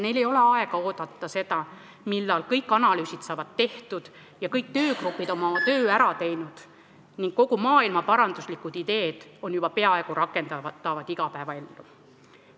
Neil ei ole aega oodata, millal kõik analüüsid saavad tehtud, kõik töögrupid on oma töö ära teinud ning kõik maailmaparanduslikud ideed on juba peaaegu rakendatavad igapäevaellu.